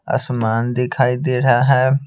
आसमान दिखाई दे रहा है।